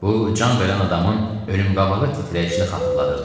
Bu, can verən adamın ölümqabağı titrəyişini xatırladırdı.